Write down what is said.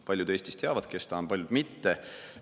Paljud Eestis teavad, kes ta on, paljud mitte.